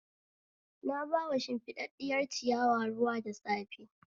Na ba shimfiɗaɗɗiyar ciyawa ruwa da safe